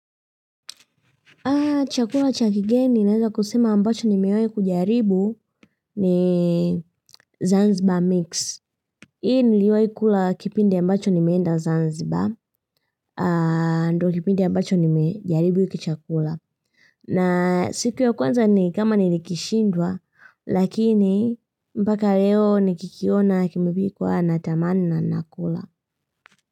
Chakula cha kigeni ninaweza kusema ambacho nimewahi kujaribu ni Zanzibar Mix. Hii niliwahi kula kipindi ambacho nimeenda Zanzibar aaa ndo kipindi ambacho nimejaribu kichakula. Na siku ya kwanza ni kama nilikishindwa lakini mpaka leo nikikiona kimipikwa natamani na kula.